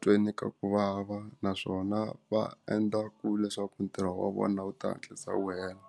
tweni ka ku vava naswona va endla ku leswaku ntirho wa vona wu ta hatlisa wu hela.